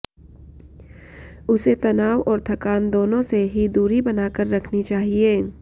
उसे तनाव और थकान दोनों से ही दूरी बना कर रखनी चाहिए